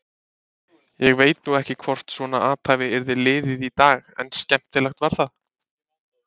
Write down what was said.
Ég veit nú ekki hvort svona athæfi yrði liðið í dag en skemmtilegt var það.